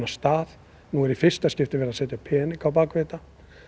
stað núna er í fyrsta skipti verið að setja pening á bak við þetta